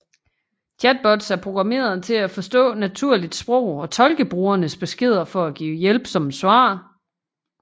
Chatbots er programmeret til at forstå naturligt sprog og tolke brugernes beskeder for at give hjælpsomme svar